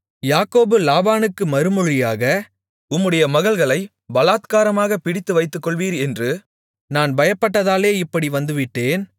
யாக்கோபு லாபானுக்கு மறுமொழியாக உம்முடைய மகள்களைப் பலாத்காரமாகப் பிடித்து வைத்துக்கொள்வீர் என்று நான் பயப்பட்டதாலே இப்படி வந்துவிட்டேன்